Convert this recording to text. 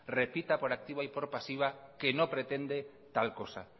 repita por activa y por pasiva que no pretende tal cosa